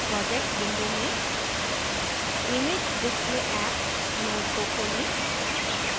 projects window में imagedisplayapp node को खोलें